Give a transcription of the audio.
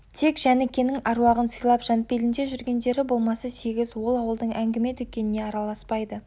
тек жәнікенің аруағын сыйлап жанпелінде жүргендері болмаса сегіз ол ауылдың әңгіме-дүкеніне араласпайды